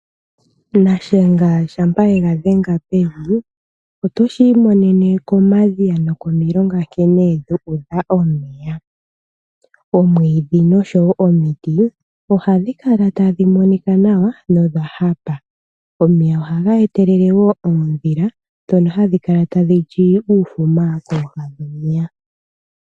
Nashenga shampa ye ga dhenga pevi otoshi imonene komadhiya nokomilonga nkene dhu udha omeya. Omwiidhi nosho wo omiti ohadhi kala tadhi monika nawa nodha hapa. Omeya ohaga etelele wo oondhila ndhono hadhi kala tadhi li uufuma kooha dhomeya.